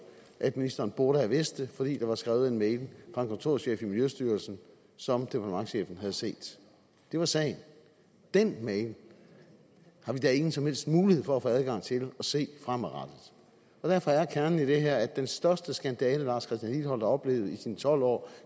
at ministeren burde have vidst det fordi der var skrevet en mail fra en kontorchef i miljøstyrelsen som departementschefen havde set det var sagen den mail har vi da ingen som helst mulighed for at få adgang til at se fremadrettet derfor er kernen i det her at den største skandale herre lars christian lilleholt har oplevet i sine tolv år